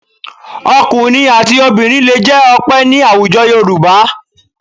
Ọkùnrin àti obìnrin lè jẹ́ Ọpẹ́ ní àwùjọ Yorùbá